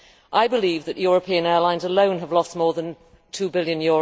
I believe that European airlines alone have lost more than EUR 2 billion.